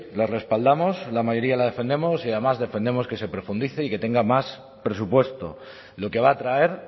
la respaldamos la mayoría la defendemos y además defendemos que se profundice y que tenga más presupuesto lo que va a traer